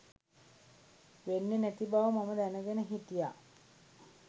වෙන්නෙ නැති බව මම දැනගෙන හිටිය